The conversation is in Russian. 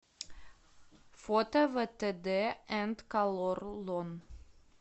фото вэтэдэ энд колорлон